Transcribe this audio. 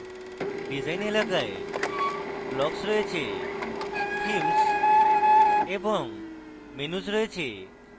design এলাকায় blocks রয়েছে themes এবং menus রয়েছে